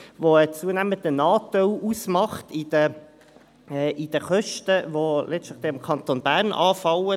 Diese macht einen zunehmenden Anteil an den Kosten aus, die im Kanton Bern anfallen.